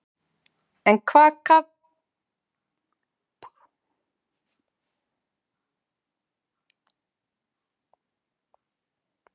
En hvað fannst Kalla um það?